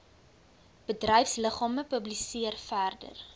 bedryfsliggame publiseer verder